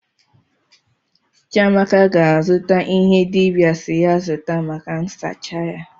Chiamaka ga-azụta ihe dibịa si ya zụta maka nsacha ya.